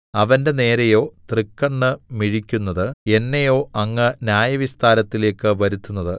അവന്റെ നേരെയോ തൃക്കണ്ണ് മിഴിക്കുന്നത് എന്നെയോ അങ്ങ് ന്യായവിസ്താരത്തിലേക്ക് വരുത്തുന്നത്